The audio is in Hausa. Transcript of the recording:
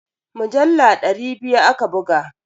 Mujallu dari biya aka buga.